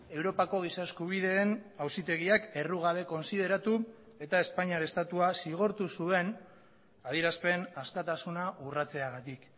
europako giza eskubideen auzitegiak errugabe kontsideratu eta espainiar estatua zigortu zuen adierazpen askatasuna urratzeagatik